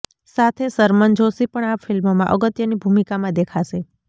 સાથે શરમન જોષી પણ આ ફિલ્મમાં અગત્યની ભૂમિકામાં દેખાશે